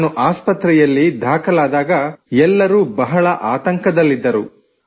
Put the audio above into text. ನಾನು ಆಸ್ಪತ್ರೆಯಲ್ಲಿ ದಾಖಲಾದಾಗ ಎಲ್ಲರೂ ಬಹಳ ಆತಂಕದಲ್ಲಿದ್ದರು